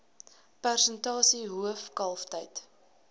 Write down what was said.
persentasie hoof kalftyd